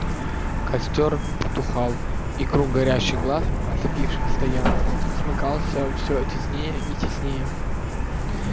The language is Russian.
костёр потухал и круг горящих глаз оцепивших стоянку смыкался всё теснее и теснее